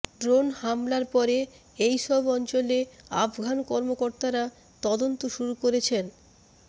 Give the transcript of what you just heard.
drone হামলার পরে এইসব অঞ্চলে আফগান কর্মকর্তারা তদন্ত শুরু করেছেন